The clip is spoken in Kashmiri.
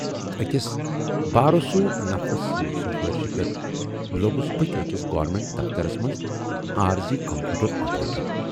ٲکِس بارسوٗخ نفرٕ سٕنزِ سُفٲرِشہِ پٮ۪ٹھ لوگُس بہٕ تہِ ٲکِس گورنمٹ دفترس منزعٲرضی کمپیوٹر آپریٹر۔